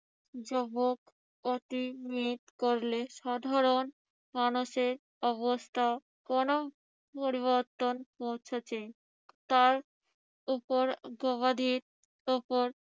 যুবক অতি জিদ করলে সাধারণ মানুষের অবস্থার কোন পরিবর্তন পৌঁছেছে তার উপর প্রহরীর উপর